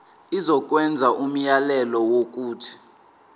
izokwenza umyalelo wokuthi